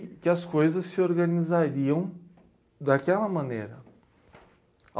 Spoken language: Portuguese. E que as coisas se organizariam daquela maneira.